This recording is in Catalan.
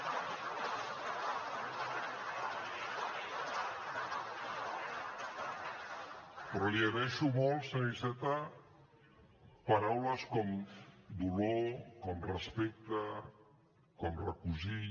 però li agraeixo molt senyor iceta paraules com dolor com respecte com recosir